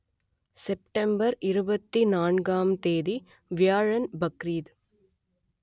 September இருபத்தி நான்காம் தேதி வியாழன் பக்ரீத்